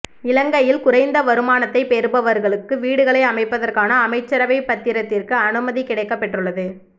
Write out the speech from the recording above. இலங்கையில் குறைந்த வருமானத்தை பெறுபவர்களுக்கு வீடுகளை அமைப்பதற்கான அமைச்சரவை பத்திரத்திற்கு அனுமதி கிடைக்கப் பெற்றுள்ளது